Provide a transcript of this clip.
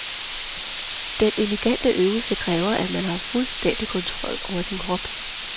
Den elegante øvelse kræver, at man har fuldstændig kontrol over sin krop.